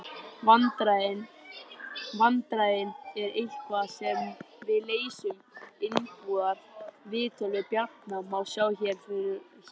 Vandræðin eru eitthvað sem við leysum innanbúðar. Viðtalið við Bjarna má sjá hér að ofan.